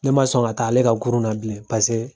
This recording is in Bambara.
Ne ma sɔn ka taa ale ka Kurun na bilen. Paseke